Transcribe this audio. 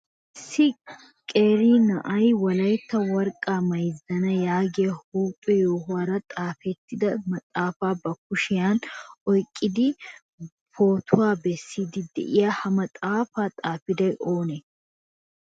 Issi qeeri na'ay wolaytta worqqaa mayssana yaagiya huuphe yohuwaara xaafetida maxaafa ba kushiyan oyqqidi o pootuwaa bessidi de'ii? Ha maxaafa xaafiday oonee?